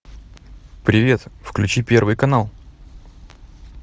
привет включи первый канал